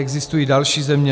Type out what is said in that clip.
Existují další země.